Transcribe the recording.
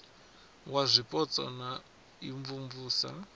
wa zwipotso na u imvumvusa